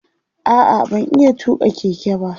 a'a ban iya tuƙa Keke ba